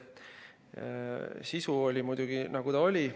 Sisu oli muidugi, nagu ta oli.